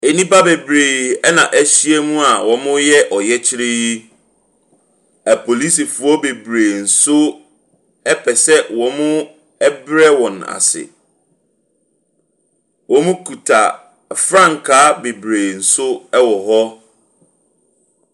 Nnipa bebree na ahyia mu a wɔreyɛ ɔyɛkyerɛ yi. Apolisifoɔ bebree nso pɛ sɛ wɔbrɛ wɔn ase. Wɔkita frankaa bebree nso wɔ hɔ.